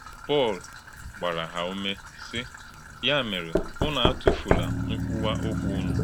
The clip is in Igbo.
Pọ́l gbarà hà úmè, sì: “Yà mèrè, ùnù àtụfùlà nkwúwà ọ̀kwú ùnù…”